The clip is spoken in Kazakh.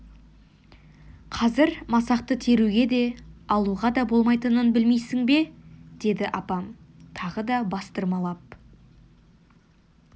қазір масақты теруге де алуға да болмайтынын білмейсің бе деді апам тағы да бастырмалап